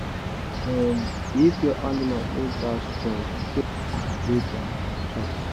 um if your animal no da strong change food wey dem da chop